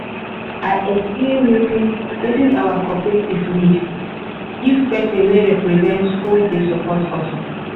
i explain wetin wetin our cooperative need give person wey represent who dey support us